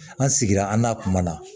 An sigira an na kuma na